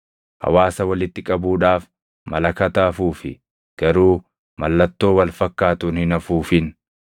Hawaasa walitti qabuudhaaf malakata afuufi; garuu mallattoo wal fakkaatuun hin afuufin.